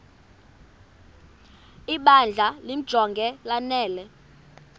ibandla limjonge lanele